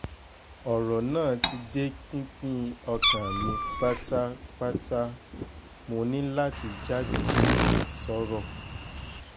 ọ̀rọ̀ náà ti dé pinpin ọkàn mi pátápátámọ́ ní láti jáde síta sọ̀rọ̀